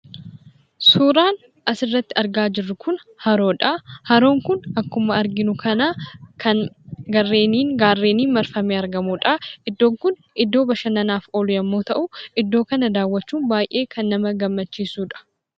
Suuraan asirratti argaa jirru kun haroodha. Haroon kun akkuma arginu kana kan gaarreniin marfamee argamudha. Iddoon kun iddoo bashannanaaf oolu yemmuu ta'u, iddoo kana daawwachuun kan nama gammachiisudha.